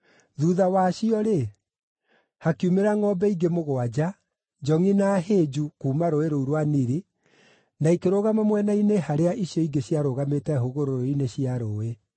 Thuutha wacio rĩ, hakiumĩra ngʼombe ingĩ mũgwanja, njongʼi na hĩnju, kuuma rũũĩ rũu rwa Nili, na ikĩrũgama mwena-inĩ harĩa icio ingĩ ciarũgamĩte hũgũrũrũ-inĩ cia rũũĩ.